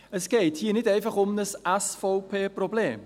Es geht hier nicht einfach um ein SVP-Problem.